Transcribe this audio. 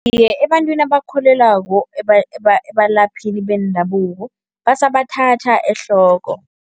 Iye, ebantwini abakukholelwako ebalaphini bendabuko basabathatha ehloko.